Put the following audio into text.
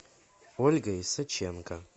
ольга исаченко